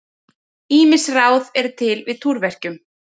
Ýmis ráð eru til við túrverkjum.